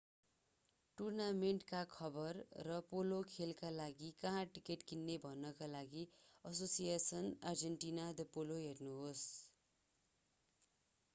टूर्नामेन्टका खबर र पोलो खेलका लागि कहाँ टिकट किन्न भन्नका लागि asociacion argentina de polo हेर्नुहोस्‌।